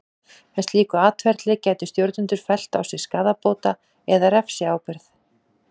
Með slíku atferli gætu stjórnendur fellt á sig skaðabóta- eða refsiábyrgð.